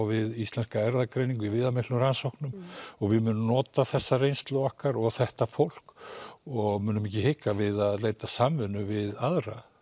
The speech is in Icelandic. við Íslenska erfðagreiningu í viðamiklum rannsóknum og við munum nota þessa reynslu okkar og þetta fólk og munum ekki hika við að leita samvinnu við aðra